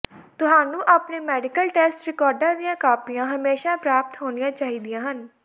ਤੁਹਾਨੂੰ ਆਪਣੇ medical test ਰਿਕਾਰਡਾਂ ਦੀਆਂ ਕਾਪੀਆਂ ਹਮੇਸ਼ਾਂ ਪ੍ਰਾਪਤ ਹੋਣੀਆਂ ਚਾਹੀਦੀਆਂ ਹਨ